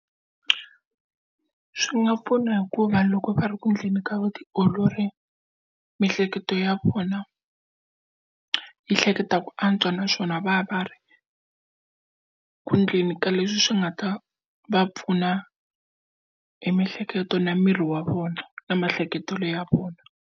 Swi nga pfuna hikuva loko va ri ku endleni ka vutiolori miehleketo ya vona yi hleketa ku antswa naswona va va va ri ku endleni ka leswi swi nga ta va pfuna hi mihleketo na miri wa vona na maehleketelo ya vona.